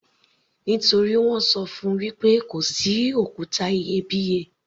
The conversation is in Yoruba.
Nítorí wọ́n ṣọ fún -un wí pé kò sí òkúta iyebíye.